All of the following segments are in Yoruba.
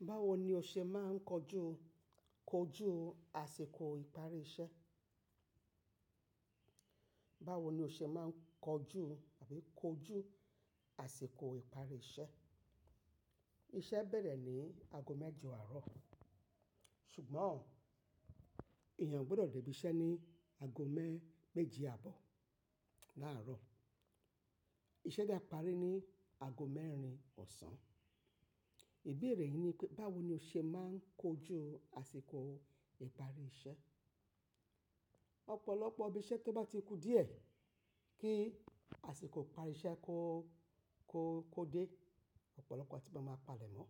Báwo ni o ṣe máa ń kojú, kojú àsìkò ìparí iṣẹ́? Báwo ni o ṣe máa ń kojú àbí kojú àsìkò ìparí iṣẹ́? Iṣẹ́ bẹ̀rẹ̀ ní aago mẹ́jọ àárọ̀, ṣùgbọ́n èèyàn gbọ́dọ̀ dé ibi iṣẹ́ ní aago mẹ́-méje àbọ̀ láàárọ̀. Iṣẹ́ de parí ní aago mẹ́rin ọ̀sán. Ìbéèrè yìí ni pé báwo ni o ṣe máa ń kojú àsìkò ìparí iṣẹ́? Ọ̀pọ̀lọpọ̀ ibi iṣẹ́ tó bá ti ku díẹ̀ kí àsìkò ìparí iṣẹ́ kó, kó, kó dé, ọ̀pọ̀lọpọ̀ àtí máa maa palẹ̀ mọ́.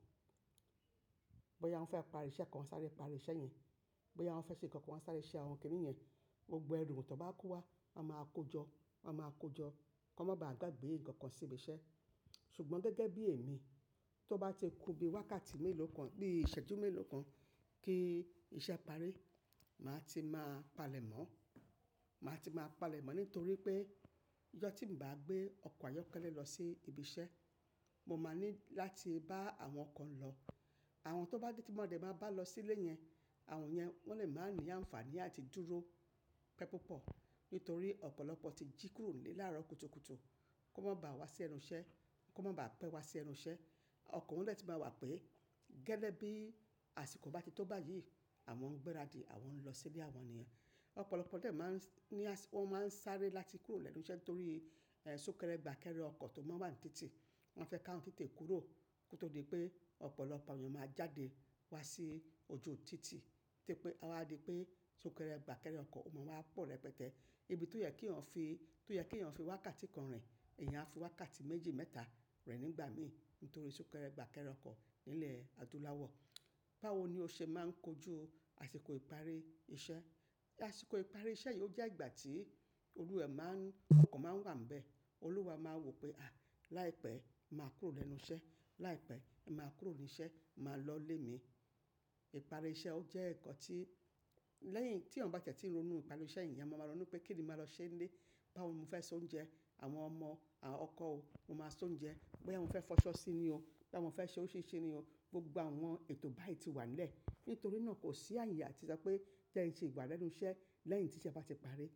Bóyá wọ́n fẹ́ parí iṣẹ́ kan, wọ́n sáré parí iṣẹ́ yẹn. Bóyá wọ́n fẹ́ ṣe nǹkan kan, wọ́n sáré ṣe àwọn ǹkan yìí yẹn. Gbogbo ẹrù tó bá ko wá, wọ́n máa kojọ́, wọ́n máa kojọ́, kan máa ba à gba gbé nǹkan kan sí ibi iṣẹ́. Ṣùgbọ́n gẹ́gẹ́ bí èmi, tó bá ti ku bí wákàtí mélòó kan, bí ìṣẹ́jú mélòó kan kí iṣẹ́ parí, màá ti máa palẹ̀ mọ́. Màá ti máa palẹ̀ mọ́ nítorí pé ijo tí ǹ bá gbé ọkọ̀ ayọ́kẹ́lẹ́ lọ sí ibi iṣẹ́, mo máa ní láti bá àwọn ọkọ̀ ń lọ. Àwọn tó bá dé tí wọn dẹ̀ bá bá lọ sílé yẹn, àwọn yẹn wọ́n lè máa ní àǹfààní àti dúró pẹ́ púpọ̀. Nítorí ọ̀pọ̀lọpọ̀ ti jí kúrò ní làárọ̀ kùtùkùtù, kó má ba à wá sí ẹnu iṣẹ́, kó má ba à pẹ́ wá sí ẹnu iṣẹ́. Ọkọ̀ wọ́n lè ti máa wà pé gẹ́le bí àsìkò bá ti tó báyìí, àwọn ń gbéra dì, àwọn ń lọ sílé àwọn ènìyàn. Ọ̀pọ̀lọpọ̀ dẹ̀ máa ń ní às-- wọ́n máa ń sáré láti kúrò lẹ́nu iṣẹ́ torí, sunkẹ́rẹ́ gbà kẹ́rẹ́ ọkọ̀ tó máa ń wà ní títì. Wọ́n fẹ́ ká awọn tetè kúrò kó tó di pé ọ̀pọ̀lọpọ̀ àwọn èèyàn máa jáde wá sí ojú títì. Tí pé, àwá di pé sunkẹ́rẹ́ gbà kẹ́rẹ́ ọkọ̀ ó máa wá pọ̀ rẹpẹtẹ́. Ibi tó yẹ kí wọ́n fi, tó yẹ kí èèyàn fi wákàtí kan rìn, èèyàn á fi wákàtí méjì mẹ́ta rin nígbà mi nítorí sunkẹ́rẹ́ gbà kẹ́rẹ́ ọkọ̀ nílẹ̀ àdúláwọ̀. Báwo ni o ṣe máa ń kojú àsìkò ìparí iṣẹ́? Àsìkò ìparí iṣẹ́ yìí ò jẹ́ ìgbà tí olúwe máa ń-- ọkan máa ń wà níbẹ̀. Olúwa máa wò pé, "À, láìpẹ́ màá kúrò lẹ́nu iṣẹ́. Láìpẹ́ màá kúrò ní iṣẹ́, màá lọ lé mi."Ìparí iṣẹ́ ò jẹ́ ǹkan tí lẹ́yìn tí èèyàn bá tẹ́tì ronu ìparí iṣẹ́ èèyàn, àwọn máa mọ̀ ọ́n pé kí ni màá lọ ṣe nílé? Báwo mo fẹ́ ṣe oúnjẹ? Àwọn ọmọ, àwọn ọkọ òun, mo máa ṣe oúnjẹ. Bóyá wọn fẹ́ fọṣọ sí ni o, bóyá wọn fẹ́ ṣe orisiri ni o, gbogbo àwọn eto bayi ti wà nlẹ̀. Nítorí náà kò sí àyè àti sọ pé jẹ́ ẹ ń ṣi wa lẹ́nu iṣẹ́ lẹ́yìn tí iṣẹ́ bá ti parí.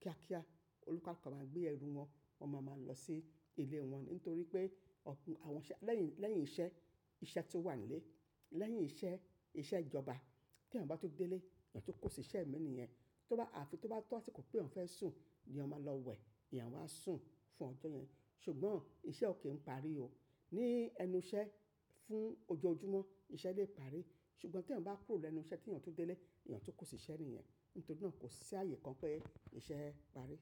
Kíá kíá, olukaluku a máa gbé ẹrù wọn, wọn máa mọ̀ lọ sí ilé wọn nítorí pé ọ̀pọ̀ àwọn iṣẹ́ lẹ́yìn, lẹ́yìn iṣẹ́, iṣẹ́ tó wà nílé, lẹ́yìn iṣẹ́, iṣẹ́ ìjọba, kí èèyàn bá tó dé ilé, èèyàn tó kó sí iṣẹ́ ìmí ènìyàn, tó bá, àfi tó bá tọ́ àsìkò pé òun fẹ́ sùn ni ọmọ lọ wẹ̀, èèyàn wá sùn fún ọ̀jo yẹn. Ṣùgbọ́n iṣẹ́ ò kí ń parí o. Ní ẹnu iṣẹ́ fún ojoojúmọ́, iṣẹ́ lè parí. Ṣùgbọ́n tí èèyàn bá kúrò lẹ́nu iṣẹ́ tí èèyàn tun dé ilé, èèyàn tó kó sí iṣẹ́ ni yẹn, nítorí náà kò sí àyè kan pé iṣẹ́ parí.